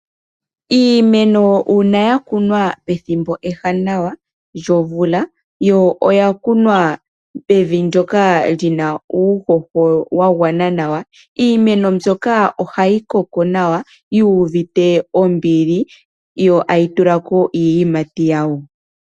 Iimeno uuna ya kunwa pethimbo ewanawa lyomvula yo oya kunwa pevi ndyoka lyina uuhoho wa gwana nawa iimeno mbyoka ohayi koko nawa yu uvite ombili yo tayi tulako iiyimati yawo.